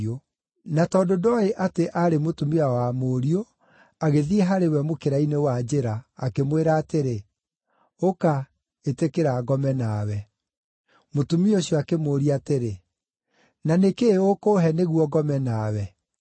Na tondũ ndooĩ atĩ aarĩ mũtumia wa mũriũ, agĩthiĩ harĩ we mũkĩra-inĩ wa njĩra, akĩmwĩra atĩrĩ, “Ũka, ĩtĩkĩra ngome nawe.” Mũtumia ũcio akĩmũũria atĩrĩ, “Na nĩ kĩĩ ũkũũhe nĩguo ngome nawe?”